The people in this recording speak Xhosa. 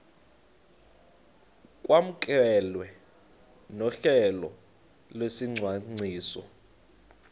kwamkelwe nohlelo lwesicwangciso